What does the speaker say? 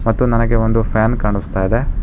ಮತ್ತು ನನಗೆ ಒಂದು ಫ್ಯಾನ್ ಕಾಣುಸ್ತಾ ಇದೆ.